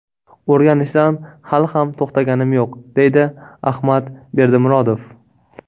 O‘rganishdan hali ham to‘xtaganim yo‘q”, deydi Ahmad Berdimurodov.